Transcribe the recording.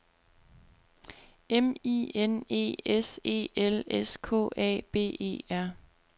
M I N E S E L S K A B E R